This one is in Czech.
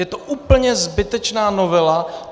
Je to úplně zbytečná novela.